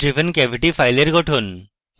lid driven cavity file গঠন